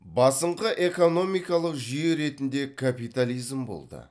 басыңқы экономикалық жүйе ретінде капитализм болды